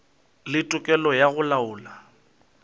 le tokelo ya go laola